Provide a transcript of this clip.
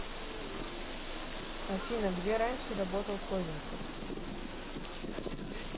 афина где раньше работал козинцев